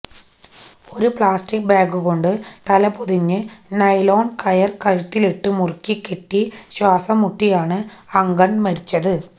ഒരു പ്ലാസ്റ്റിക് ബാഗുകൊണ്ട് തലപൊതിഞ്ഞ് നൈലോണ് കയര് കഴുത്തില് മുറുക്കി കെട്ടി ശ്വാസം മുട്ടിയാണ് അങ്കണ് മരിച്ചത്